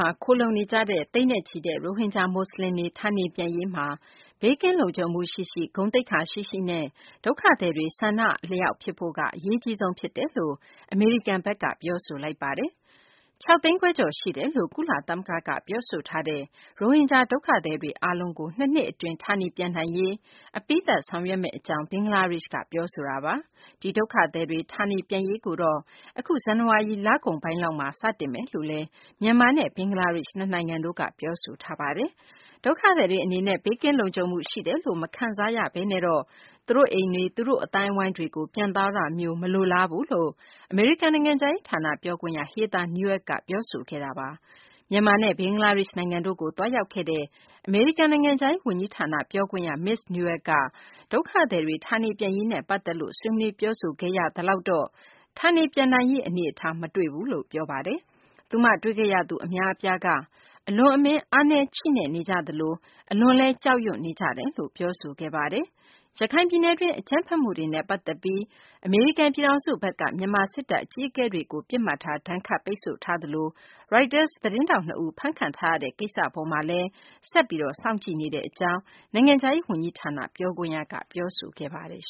ှာ ခိုလှုံနေကြတဲ့ သိန်းနဲ့ချီတဲ့ ရိုဟင်ဂျာ မူဆလင်တွေ ဌာနေပြန်ရေးမှာ ဘေးကင်းလုံခြုံမှု ရှိရှိ၊ ဂုဏ်သိက္ခာရှိရှိနဲ့ ဒုက္ခသည်တွေ ဆန္ဒအလျောက် ဖြစ်ဖို့က အရေးအကြီးဆုံး ဖြစ်တယ်လို့ အမေရိကန်ဘက်က ပြောဆိုလိုက်ပါတယ်။ ၆ သိန်းခွဲကျော် ရှိတယ်လို့ ကုလသမဂ္ဂက ပြောဆိုထားတဲ့ ရိုဟင်ဂျာ ဒုက္ခသည်တွေ အားလုံးကို ၂ နှစ် အတွင်း ဌာနေပြန်ရေး အပြီးသတ် ဆောင်ရွက်မယ့် အကြောင်း ဘင်္ဂလားဒေရှ့်ဘက်က ပြောဆိုထားတာပါ။ ဒီဒုက္ခသည်တွေ ဌာနေပြန်ရေးကိုတော့ အခု ဇန်နဝါရီ လကုန်ပိုင်းလောက်မှာ စတင်မယ်လို့လည်း မြန်မာနဲ့ ဘင်္ဂလားဒေရှ့်ဘက်က ပြောဆိုထားတာပါ။ဒုက္ခသည်တွေ အနေနဲ့ ဘေးကင်းလုံခြုံမှု ရှိတယ်လို့ မခံစားရဘဲနဲ့တော့ သူတို့အိမ်တွေ၊ သူတို့ အသိုင်းအဝိုင်းကို ပြန်သွားတာမျိုးကို မလိုလားဘူးလို့ အမေရိကန် နိုင်ငံခြားရေး ဌာန ပြောခွင့်ရ Heather Nauert က ပြောဆိုခဲ့တာပါ။ မြန်မာနဲ့ ဘင်္ဂလားဒေရှ့် နိုင်ငံတို့ကို သွားရောက်ခဲ့တဲ့ အမေရိကန် နိုင်ငံခြားရေး ဝန်ကြီးဌာန ပြောခွင့်ရ မစ္စ Nauert ကတော့ ဒုက္ခသည်တွေ ဌာနေပြန်ရေးနဲ့ ပတ်သက်လို့ ဆွေးနွေးပြောဆိုခဲ့ရသလောက်တော့ ဌာနေပြန်နိုင်ရေး အနေအထား မတွေ့ရဘူးလို့ ပြောပါတယ်။ သူမတွေ့ခဲ့ရသူ အများအပြားက အလွန်အမင်း အားနည်းချိနဲ့နေကြသလို အလွန်အမင်း ကြောက်ရွံ့နေကြတယ်လို့လည်း ပြောဆိုခဲ့ပါတယ်။ ရခိုင် ပြည်နယ်တွင်း အကြမ်းဖက်မှုတွေနဲ့ ပတ်သက်ပြီး အမေရိကန် ပြည်ထောင်စုဘက်က မြန်မာ စစ်တပ် အကြီးအကဲတွေကို ပစ်မှတ်ထား ဒဏ်ခတ်ပိတ်ဆို့ထားသလို၊ ရိုက်တာ သတင်းထောက် နှစ်ဦး ဖမ်းခံထားရတဲ့ ကိစ္စ အပေါ်မှာလည်း အမေရိကန် ပြည်ထောင်စုဘက်က ဆက်ပြီး စောင့်ကြည့်နေတဲ့ အကြောင်း အမေရိကန် နိုင်ငံခြားရေး ဝန်ကြီးဌာန ပြောခွင့်ရ Heather Nauert က ပြောဆိုခဲ့ပါတယ်။